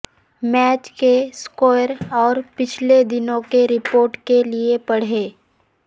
match کے score اور پچھلے دنوں کی رپورٹ کے لیے پڑھیے